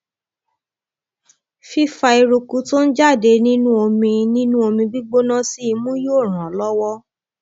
fífa eruku tó ń jáde nínú omi nínú omi gbígbóná sí imú yóò ràn án lọwọ